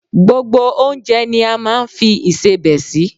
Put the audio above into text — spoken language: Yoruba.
Gbogbo oúnjẹ ni a máa ń fi ìṣebẹ sí.